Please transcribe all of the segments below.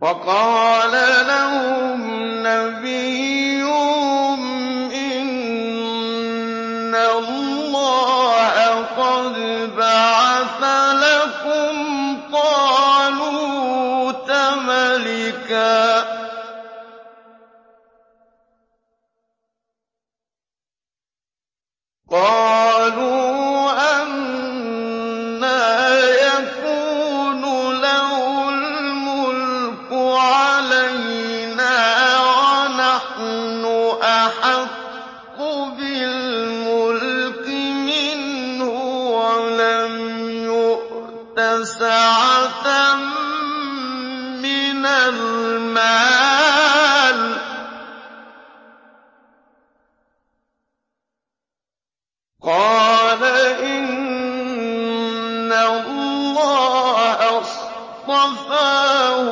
وَقَالَ لَهُمْ نَبِيُّهُمْ إِنَّ اللَّهَ قَدْ بَعَثَ لَكُمْ طَالُوتَ مَلِكًا ۚ قَالُوا أَنَّىٰ يَكُونُ لَهُ الْمُلْكُ عَلَيْنَا وَنَحْنُ أَحَقُّ بِالْمُلْكِ مِنْهُ وَلَمْ يُؤْتَ سَعَةً مِّنَ الْمَالِ ۚ قَالَ إِنَّ اللَّهَ اصْطَفَاهُ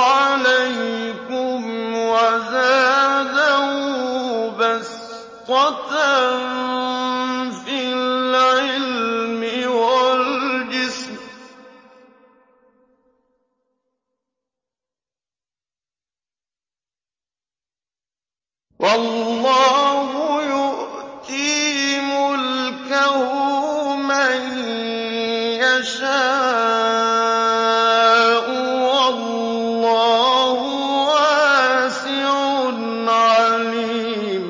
عَلَيْكُمْ وَزَادَهُ بَسْطَةً فِي الْعِلْمِ وَالْجِسْمِ ۖ وَاللَّهُ يُؤْتِي مُلْكَهُ مَن يَشَاءُ ۚ وَاللَّهُ وَاسِعٌ عَلِيمٌ